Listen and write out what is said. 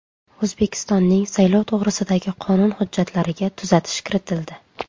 O‘zbekistonning saylov to‘g‘risidagi qonun hujjatlariga tuzatish kiritildi.